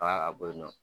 Aa a bɔ yen nɔ